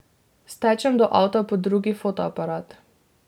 Stečem do avta po drugi fotoaparat.